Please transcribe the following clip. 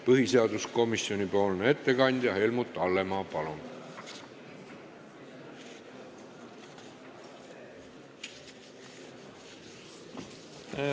Põhiseaduskomisjoni ettekandja Helmut Hallemaa, palun!